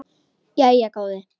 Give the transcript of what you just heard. Jæja góði.